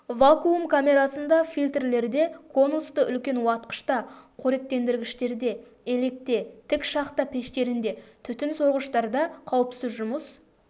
вакуум камерасында фильтрлерде конусты үлкен уатқышта қоректендіргіштерде електе тік шахта пештерінде түтін сорғыштарда қауіпсіз жұмыс